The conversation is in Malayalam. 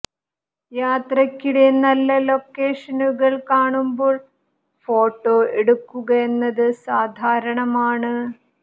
യാത്രക്കിടെ നല്ല ലോക്കേഷനുകൾ കാണുമ്പോൾ ഫോട്ടോ എടുക്കുക എന്നത് സാധാരണമാണ്